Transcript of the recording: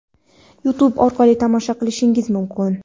YouTube orqali tomosha qilishingiz mumkin:.